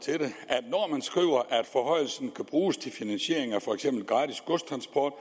om skriver at forhøjelsen kan bruges til finansiering af for eksempel gratis godstransport